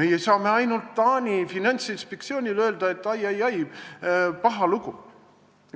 meie saame ainult Taani finantsinspektsioonile öelda, et ai-ai-ai, paha lugu.